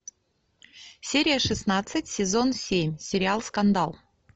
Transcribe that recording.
серия шестнадцать сезон семь сериал скандал